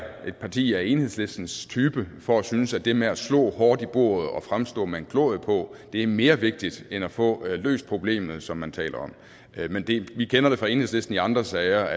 et parti af enhedslistens type for at synes at det med at slå hårdt i bordet og fremstå med en glorie på er mere vigtigt end at få løst problemet som man taler om men vi kender det fra enhedslisten i andre sager